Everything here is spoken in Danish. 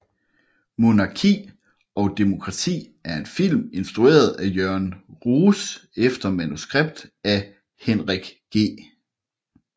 Monarki og demokrati er en film instrueret af Jørgen Roos efter manuskript af Henrik G